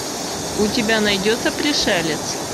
у тебя найдется пришелец